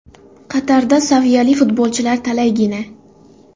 Qatarda saviyali futbolchilar talaygina.